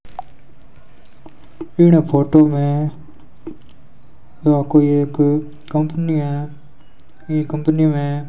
इन photo में यह कोई एक कंपनी है ये कंपनी में --